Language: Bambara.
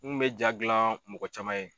N kun be ja gilan mɔgɔ caman ye